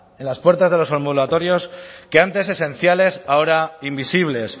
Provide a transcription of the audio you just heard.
en las puertas de los ambulatorios que antes esenciales ahora invisibles